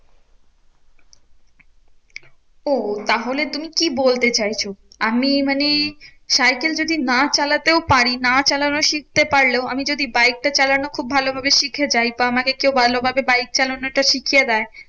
ওহ তাহলে তুমি কি বলতে চাইছো? আমি মানে সাইকেল যদি না চালাতেও পার, না চালানো শিখতে পারলেও আমি যদি বাইকটা চালানো খুব ভালো ভাবে শিখে যাই তো আমাকে কেউ ভালো ভাবে বাইক চালানো টা শিখিয়ে দেয়